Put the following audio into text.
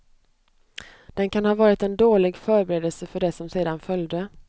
Den kan ha varit en dålig förberedelse för det som sedan följde.